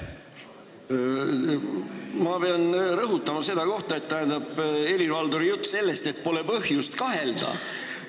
Ma pean rõhutama ühte kohta, seda Helir-Valdori juttu sellest, et pole põhjust kahelda.